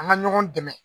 An ka ɲɔgɔn dɛmɛ